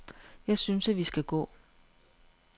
Jeg synes, at vi skal gå.